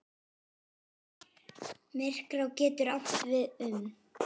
Myrká getur átt við um